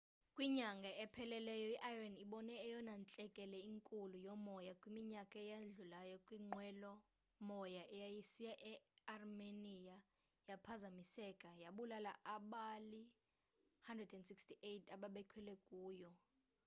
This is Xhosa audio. kwinyanga ephelileyo i-iran ibone eyona ntlekele inkulu yomoya kwiminyaka eyadlulayo xa inqwelo moya eyayisiya earmenia yaphazamiseka yabulala abali-168 ababekhwele kuyo